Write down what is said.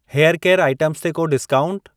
Hair care items ते को discount?